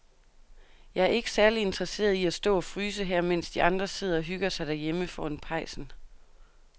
Jeg er ikke særlig interesseret i at stå og fryse her, mens de andre sidder og hygger sig derhjemme foran pejsen.